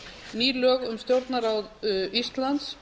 ný lög um stjórnarráð íslands